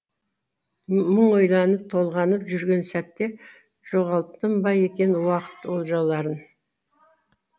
мың ойланып толғанып жүрген сәтте жоғалттым ба екен уақыт олжаларын